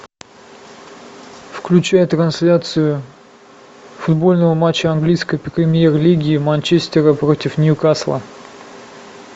включай трансляцию футбольного матча английской премьер лиги манчестера против ньюкасла